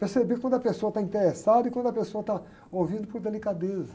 Perceber quando a pessoa está interessada e quando a pessoa está ouvindo por delicadeza.